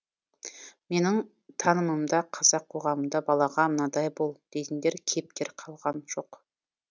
менің танымымда қазақ қоғамында балаға мынадай бол дейтіндер кейіпкер қалған жоқ